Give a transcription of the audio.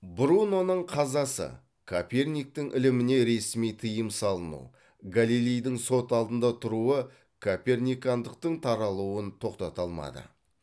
бруноның қазасы коперниктің іліміне ресми тыйым салыну галилейдің сот алдында тұруы коперникандықтың таралуын тоқтата алмады